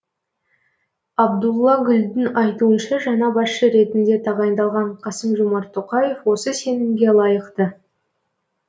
абдулла гүлдің айтуынша жаңа басшы ретінде тағайындалған қасым жомарт тоқаев осы сенімге лайықты